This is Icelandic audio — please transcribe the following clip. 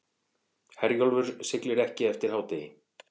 Herjólfur siglir ekki eftir hádegi